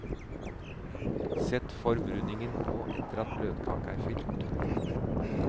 Sett formrundingen på etter at bløtkaka er fylt.